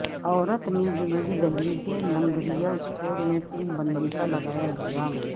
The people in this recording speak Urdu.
عورت نے جنوبی دہلی کی لنگریا اسٹور میں فلم بندی کا لگایاالزام